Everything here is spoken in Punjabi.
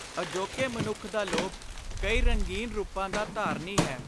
ਅਜੋਕੇ ਮਨੁੱਖ ਦਾ ਲੋਭ ਕਈ ਰੰਗੀਨ ਰੁਪਾਂ ਦਾ ਧਾਰਨੀ ਹੈ।